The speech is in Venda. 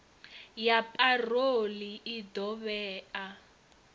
ya parole i ḓo vhea